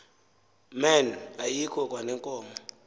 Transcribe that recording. men ayikho kwaneenkomo